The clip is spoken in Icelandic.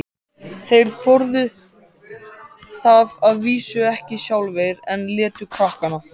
Þeir þorðu það að vísu ekki sjálfir, en létu krakkana.